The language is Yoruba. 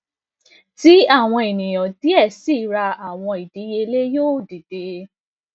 ti awọn eniyan diẹ sii ra awọn idiyele yoo dide